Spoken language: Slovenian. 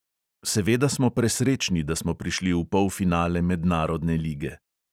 Seveda smo presrečni, da smo prišli v polfinale mednarodne lige.